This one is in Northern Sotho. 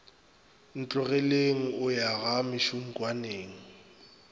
ntlogeleng o ya ga mešunkwane